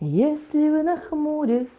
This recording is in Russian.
если вы нахмурясь